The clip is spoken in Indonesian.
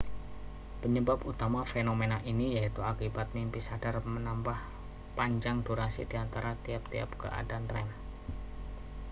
penyebab utama fenomena ini yaitu akibat mimpi sadar menambah panjang durasi di antara tiap-tiap keadaan rem